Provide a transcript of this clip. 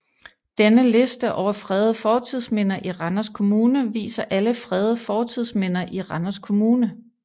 Denne liste over fredede fortidsminder i Randers Kommune viser alle fredede fortidsminder i Randers Kommune